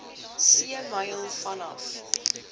see myl vanaf